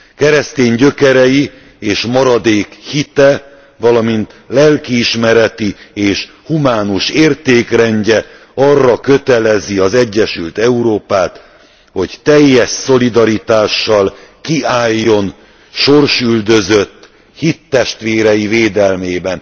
Keresztény gyökerei és maradék hite, valamint lelkiismereti és humánus értékrendje arra kötelezi az egyesült Európát, hogy teljes szolidaritással kiálljon sorsüldözött hittestvérei védelmében.